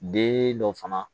Den dɔ fana